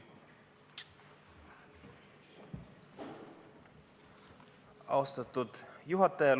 Austatud juhataja!